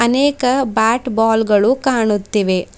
ಅನೇಕ bat ball ಗಳು ಕಾಣುತ್ತಿವೆ.